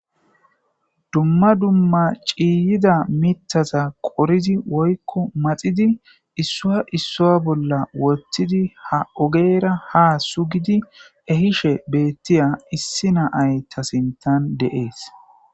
Dumma dumma ciiyida mitaza qoridi woykko maxidi issua issoa bolla wotidi ha ogeera ha sugidi ehishe beettiya issi naay ta sintan deees.